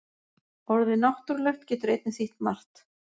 Orðið náttúrulegt getur einnig þýtt margt.